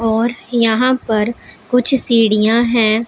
और यहां पर कुछ सीढ़ियां हैं।